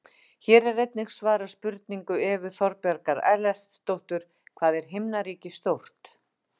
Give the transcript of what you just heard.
Hér er einnig svarað spurningu Evu Þorbjargar Ellertsdóttur: Hvað er himnaríki stórt?